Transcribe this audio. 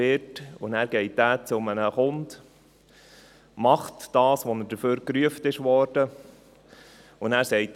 Dieser geht dann zu einem Kunden, macht das, wofür er gerufen wurde und sagt dann: